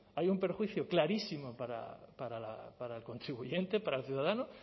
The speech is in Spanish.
hay un perjuicio clarísimo para el contribuyente para el ciudadano